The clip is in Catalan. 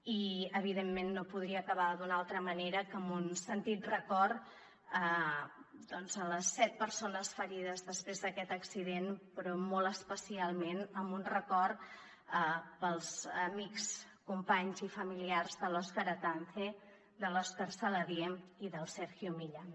i evidentment no podria acabar d’una altra manera que amb un sentit record a les set persones ferides després d’aquest accident però molt especialment amb un record per als amics companys i familiars de l’òscar atance de l’òscar saladié i del sergio millán